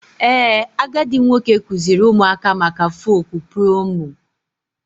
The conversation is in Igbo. Ee, agadi nwoke kụziiri ụmụaka maka folk preomu.